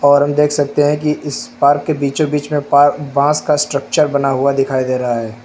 और हम देख सकते हैं कि इस पार्क के बीचो बीच में पा बांस का स्ट्रक्चर बना हुआ दिखाई दे रहा है।